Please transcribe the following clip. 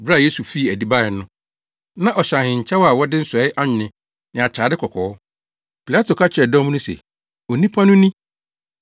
Bere a Yesu fii adi bae no, na ɔhyɛ ahenkyɛw a wɔde nsɔe anwen ne atade kɔkɔɔ. Pilato ka kyerɛɛ dɔm no se, “Onipa no ni!”